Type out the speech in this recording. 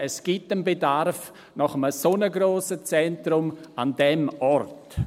Es gibt einen Bedarf nach einem so grossen Zentrum an diesem Ort.